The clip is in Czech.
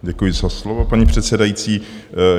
Děkuji za slovo, paní předsedající.